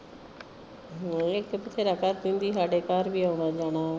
ਹਮ ਇੱਕ ਤਾਂ ਬਥੇਰਾ ਕਰਦੀ ਹੁੰਦੀ। ਸਾਡੇ ਘਰ ਵੀ ਆਉਣਾ ਜਾਣਾ।